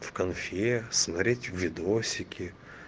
в конфе смотреть видосики